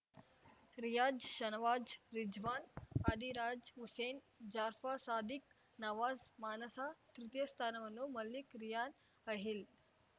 ರಿಯಾಜ್‌ಶರ್ವಾಜ್‌ ರಿಜ್ವಾನ್‌ ಅದಿರಜಾ ಹುಸೇನ್‌ ಜಾಫರ್‌ ಸಾದಿಕ್‌ ನವಾಜ್‌ ಮಾನಸ ತೃತೀಯ ಸ್ಥಾನವನ್ನು ಮಲ್ಲಿಕ್‌ ರಿಯಾನ್‌ ಅಹಿಲ್‌